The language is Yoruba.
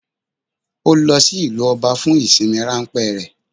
Ó lo sí ìlú Oba fun ìsinmi ránpé rè